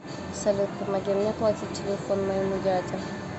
салют помоги мне оплатить телефон моему дяде